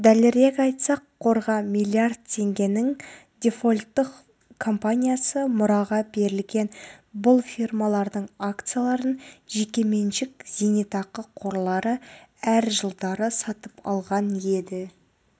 дәлірек айтсақ қорға миллиард теңгенің дефолттық компаниясы мұраға берілген бұл фирмалардың акцияларын жекеменшік зейнетақы қорлары әр жылдары сатып алған еді